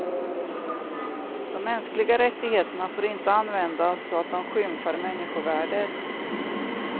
De mänskliga rättigheterna får inte användas så att de skymfar människovärdet.